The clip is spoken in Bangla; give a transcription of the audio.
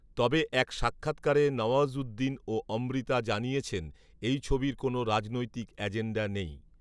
তবে এক সাক্ষাৎকারে নওয়াজ়উদ্দিন ও অমৃতা জানিয়েছেন এই ছবির কোনও রাজনৈতিক অ্যাজেন্ডা নেই